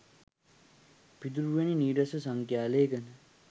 පිදුරු වැනි නීරස සංඛ්‍යා ලේඛන